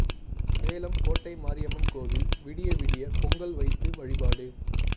சேலம் கோட்டை மாரியம்மன் கோயில் விடிய விடிய பொங்கல் வைத்து வழிபாடு